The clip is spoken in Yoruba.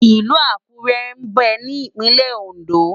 Ilù Akure mbè ni Ipinlè Óndó